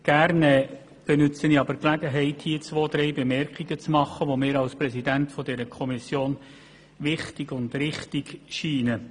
Gerne nutze ich die Gelegenheit, hier einige Bemerkungen zu machen, die mir als Präsident dieser Kommission als wichtig und richtig erscheinen.